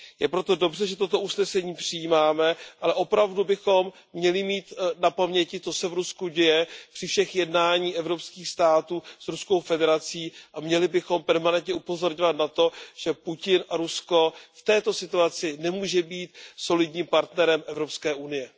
Je proto dobře, že toto usnesení přijímáme, ale opravdu bychom měli mít na paměti, co se v Rusku děje, při všech jednání evropských států s Ruskou federací a měli bychom permanentně upozorňovat na to, že Putin a Rusko v této situaci nemůžou být solidním partnerem Evropské unie.